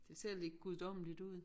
Det ser lidt guddommeligt ud